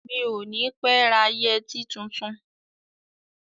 Mi ò ní pé ra yẹtí tuntun.